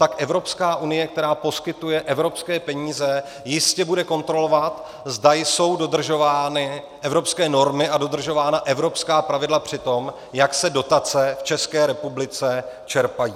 Tak Evropská unie, která poskytuje evropské peníze, jistě bude kontrolovat, zda jsou dodržovány evropské normy a dodržována evropská pravidla při tom, jak se dotace v České republice čerpají.